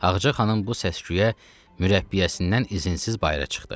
Ağca xanım bu səsküyə mürəbbiyəsindən izinsiz bayıra çıxdı.